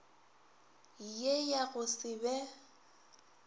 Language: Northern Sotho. ye ya go se be